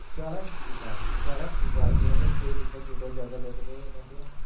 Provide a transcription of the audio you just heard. ચડે ઉભા રહો ચડે ઉભા રહો થેટ ઉપર ચોટે ચડતા ચડતા તો એને તો અને